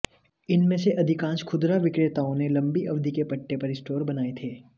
इनमें से अधिकांश खुदरा विक्रेताओं ने लंबी अवधि के पट्टे पर स्टोर बनाए थे